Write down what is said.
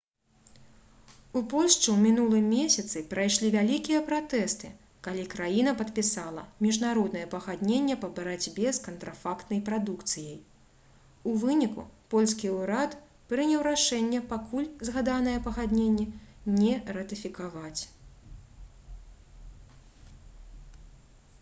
у польшчы ў мінулым месяцы прайшлі вялікія пратэсты калі краіна падпісала міжнароднае пагадненне па барацьбе з кантрафактнай прадукцыяй у выніку польскі ўрад прыняў рашэнне пакуль згаданае пагадненне не ратыфікаваць